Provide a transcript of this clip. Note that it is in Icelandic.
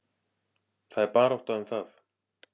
Það er barátta um það.